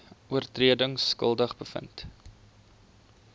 oortredings skuldig bevind